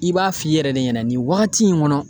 I b'a f'i yɛrɛ de ɲɛna, nin wagati in kɔnɔ